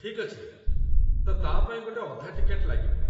ଠିକ୍ ଅଛି, ତ ତା' ପାଇଁ ଗୋଟେ ଅଧା ଟିକେଟ ଲାଗିବ।